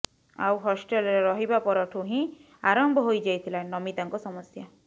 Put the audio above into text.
ଆଉ ହଷ୍ଟେଲରେ ରହିବା ପରଠୁ ହିଁ ଆରମ୍ଭ ହୋଇଯାଇଥିଲା ନମିତାଙ୍କ ସମସ୍ୟା